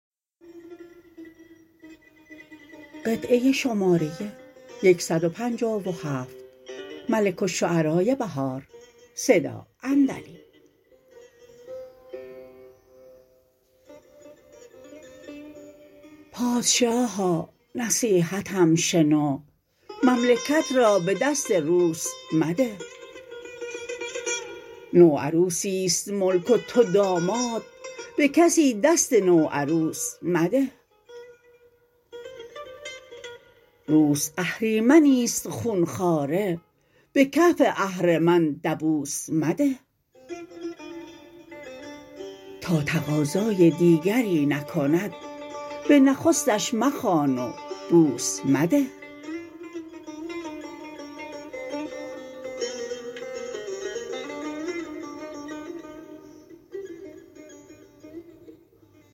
پادشاها نصیحتم شنو مملکت را به دست روس مده نوعروسی است ملک وتو داماد به کسی دست نوعروس مده روس اهریمنی است خونخواره به کف اهرمن دبوس مده تا تقاضای دیگری نکند به نخستش مخوان و بوس مده